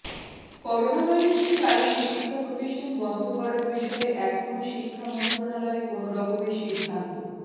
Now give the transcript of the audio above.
করোনাভাইরাসের কারণে শিক্ষা প্রতিষ্ঠান বন্ধ করার বিষয়ে এখনও শিক্ষা মন্ত্রণালয় কোনো রকমের সিদ্ধান্